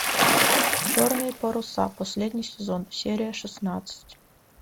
черные паруса последний сезон серия шестнадцать